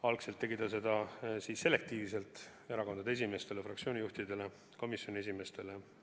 Algselt tegi ta seda selektiivselt, erakondade esimeestele, fraktsioonide juhtidele ja komisjonide esimeestele.